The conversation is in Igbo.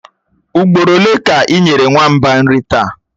Ugboro ole ka ị nyere nwamba nri taa?